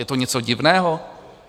Je to něco divného?